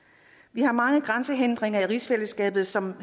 vi har mange grænsehindringer i rigsfællesskabet som